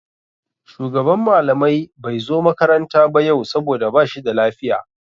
Shugaban malamai bai zo makaranta ba yau saboda ba shi da lafiya.